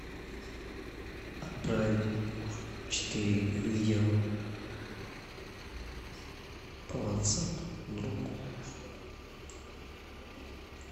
отправить четыре видео по ватсапу другу